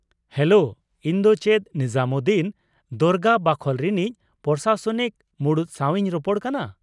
Hello, ᱤᱧ ᱫᱚ ᱪᱮᱫ ᱱᱤᱡᱟᱢᱩᱫᱫᱤᱱ ᱫᱚᱨᱜᱟ ᱵᱟᱠᱷᱳᱞ ᱨᱤᱱᱤᱡ ᱯᱨᱚᱥᱟᱥᱚᱱᱤᱠ ᱢᱩᱬᱩᱫ ᱥᱟᱶ ᱤᱧ ᱨᱚᱯᱚᱲ ᱠᱟᱱᱟ?